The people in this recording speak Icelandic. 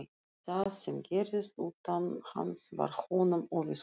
Það sem gerðist utan hans var honum óviðkomandi.